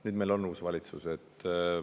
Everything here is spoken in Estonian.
Nüüd on meil uus valitsus.